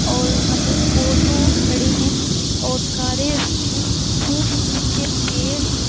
और यहाँ पे ऑटो खड़े हैं और कारे भी हैं। खूब ऊँचे पेड़ हैं।